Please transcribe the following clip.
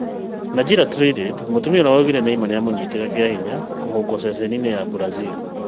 Najila Trindade: mũtumia ũrĩa waugire Neymar nĩamũnyitire kĩahinya kũhũngwo ceceni-inĩ ya Brazil